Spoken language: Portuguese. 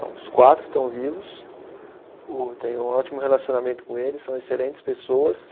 Os quatro estão vivos, o eu tenho um ótimo relacionamento com eles, são excelentes pessoas.